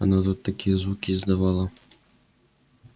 она тут такие звуки издавала